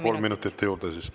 Kolm minutit juurde.